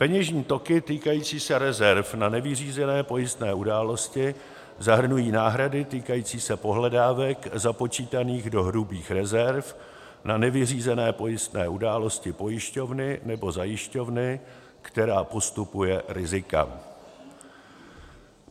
peněžní toky týkající se rezerv na nevyřízené pojistné události zahrnují náhrady týkající se pohledávek započítaných do hrubých rezerv na nevyřízené pojistné události pojišťovny nebo zajišťovny, která postupuje rizika;